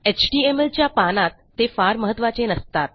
HTML च्या पानात ते फार महत्त्वाचे नसतात